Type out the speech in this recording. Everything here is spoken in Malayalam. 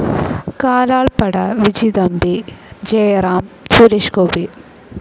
കാലാൾപ്പട വിജിതമ്പി ജയറാം, സുരേഷ് ഗോപി